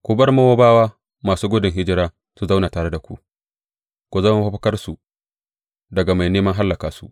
Ku bar Mowabawa masu gudun hijira su zauna tare da ku; ku zama mafakarsu daga mai neman hallaka su.